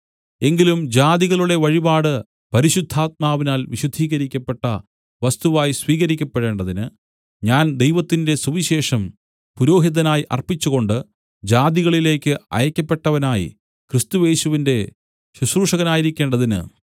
എങ്കിലും ജാതികളുടെ വഴിപാട് പരിശുദ്ധാത്മാവിനാൽ വിശുദ്ധീകരിക്കപ്പെട്ട വസ്തുവായി സ്വീകരിക്കപ്പെടേണ്ടതിന് ഞാൻ ദൈവത്തിന്റെ സുവിശേഷം പുരോഹിതനായി അർപ്പിച്ചുകൊണ്ട് ജാതികളിലേക്ക് അയയ്ക്കപ്പെട്ടവനായി ക്രിസ്തുയേശുവിന്റെ ശുശ്രൂഷകനായിരിക്കേണ്ടതിന്